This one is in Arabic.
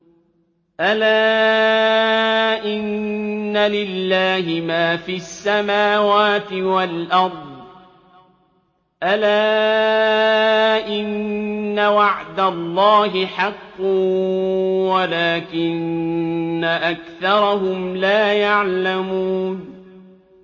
أَلَا إِنَّ لِلَّهِ مَا فِي السَّمَاوَاتِ وَالْأَرْضِ ۗ أَلَا إِنَّ وَعْدَ اللَّهِ حَقٌّ وَلَٰكِنَّ أَكْثَرَهُمْ لَا يَعْلَمُونَ